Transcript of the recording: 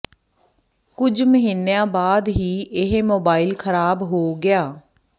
ਕੁਝ ਮਹੀਨਿਆਂ ਬਾਅਦ ਹੀ ਇਹ ਮੋਬਾਈਲ ਖਰਾਬ ਹੋ ਗਿਆ